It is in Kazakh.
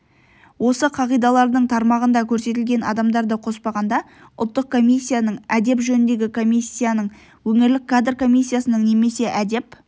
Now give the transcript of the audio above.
осы қағидалардың тармағында көрсетілген адамдарды қоспағанда ұлттық комиссияның әдеп жөніндегі комиссияның өңірлік кадр комиссиясының немесе әдеп